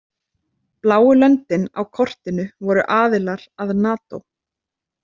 Bláu löndin á kortinu voru aðilar að Nato.